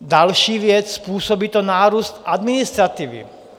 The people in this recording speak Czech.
Další věc, způsobí to nárůst administrativy.